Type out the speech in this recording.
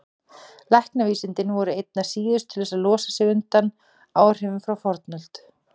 Læknavísindin voru einna síðust til að losa sig undan áhrifum frá fornöld.